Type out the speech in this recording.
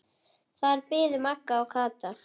Þar biðu Magga og Kata.